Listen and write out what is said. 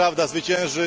Prawda zwycięży!